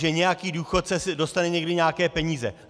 Že nějaký důchodce dostane někdy nějaké peníze.